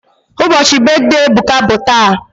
Ubochi brithday Ebuka bu taa